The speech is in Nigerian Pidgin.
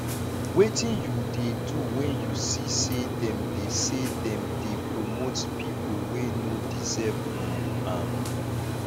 wetin you dey do when you see say dem dey say dem dey promote people wey no deserve um am